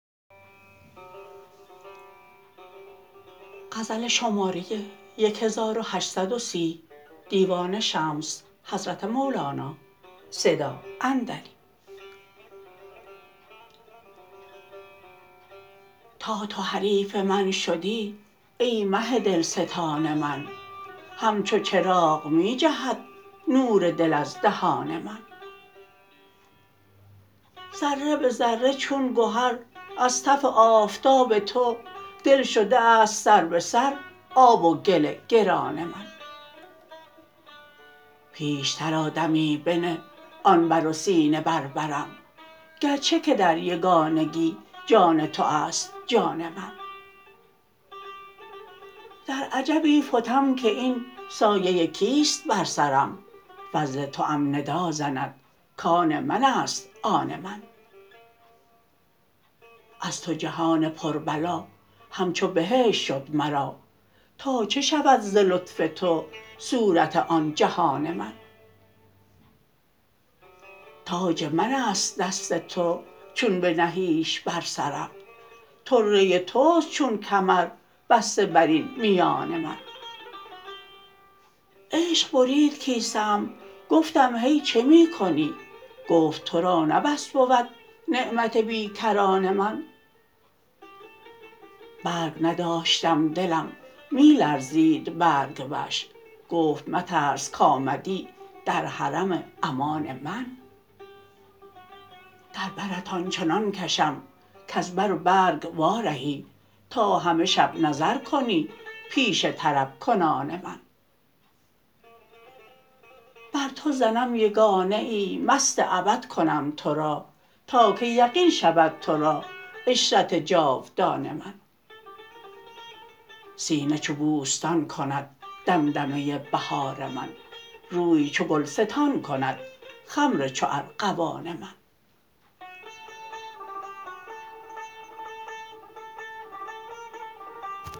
تا تو حریف من شدی ای مه دلستان من همچو چراغ می جهد نور دل از دهان من ذره به ذره چون گهر از تف آفتاب تو دل شده است سر به سر آب و گل گران من پیشتر آ دمی بنه آن بر و سینه بر برم گرچه که در یگانگی جان تو است جان من در عجبی فتم که این سایه کیست بر سرم فضل توام ندا زند کان من است آن من از تو جهان پربلا همچو بهشت شد مرا تا چه شود ز لطف تو صورت آن جهان من تاج من است دست تو چون بنهیش بر سرم طره توست چون کمر بسته بر این میان من عشق برید کیسه ام گفتم هی چه می کنی گفت تو را نه بس بود نعمت بی کران من برگ نداشتم دلم می لرزید برگ وش گفت مترس کآمدی در حرم امان من در برت آن چنان کشم کز بر و برگ وارهی تا همه شب نظر کنی پیش طرب کنان من بر تو زنم یگانه ای مست ابد کنم تو را تا که یقین شود تو را عشرت جاودان من سینه چو بوستان کند دمدمه بهار من روی چو گلستان کند خمر چو ارغوان من